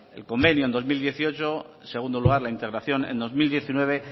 el convenio en dos mil dieciocho en segundo lugar la integración en dos mil diecinueve